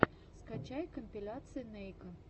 скачай компиляции нейка